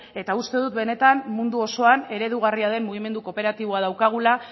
eta uste dut benetan mundu osoan eredugarria den mugimendu kooperatiboa daukagula